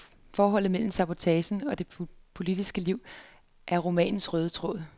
Forholdet mellem sabotagen og det politiske liv er romanens røde tråd.